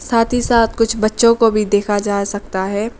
साथ ही साथ कुछ बच्चों को भी देखा जा सकता है।